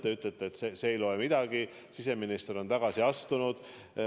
Te ütlete, et see ei loe midagi, et siseminister on tagasi astunud.